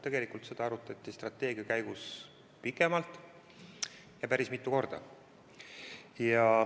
Tegelikult seda arutati strateegia koostamise käigus pikemalt, ja päris mitu korda.